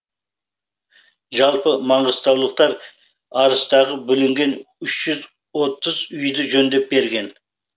жалпы маңғыстаулықтар арыстағы бүлінген үш жүз отыз үйді жөндеп берген